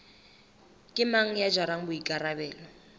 ke mang ya jarang boikarabelo